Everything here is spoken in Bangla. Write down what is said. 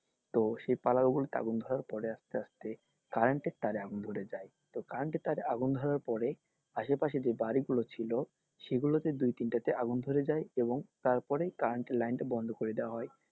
তো সেই পালার ওপর আগুন ধরার পর আসতে আসতে current এর তারে আগুন ধরে যায় তো current এর তারে আগুন ধরার পরে আশেপাশে যে বাড়ি গুলো ছিল সেইগুলোতে দুই তিনটা তে আগুন ধরে যায় এবং তারপরেই current এর line টা বন্ধ করে দেওয়া হয়,